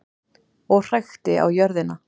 Og hrækti á jörðina.